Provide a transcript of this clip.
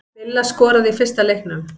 Villa skoraði í fyrsta leiknum